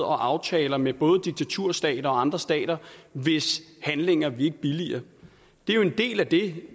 og aftaler med både diktaturstater og andre stater hvis handlinger vi ikke billiger det er en del af det